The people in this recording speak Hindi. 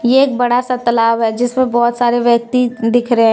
ये एक बड़ा सा तालाब है जिसमें बहुत सारे व्यक्ति दिख रहे हैं।